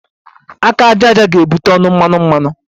Aka aja aja ga-ebute ọnụ mmanụ mmanụ